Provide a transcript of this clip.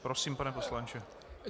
Prosím, pane poslanče.